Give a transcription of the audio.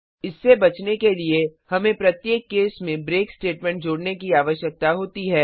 इससे बचने के लिए हमें प्रत्येक केस में ब्रेक स्टेटमेंट जोड़ने की आवश्यकता होती है